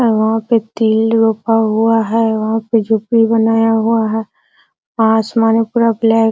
और वहाँ पे तिल रोपा हुआ है वहाँ पे झोंपड़ी बनाया हुआ है आसमान में पूरा ब्लैक --